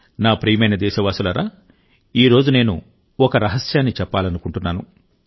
నా ప్రియమైన దేశవాసులారా ఈ రోజు నేను ఒక రహస్యాన్ని చెప్పాలనుకుంటున్నాను